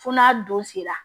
Fo n'a don sera